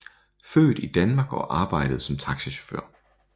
Født i Danmark og arbejdede som taxichauffør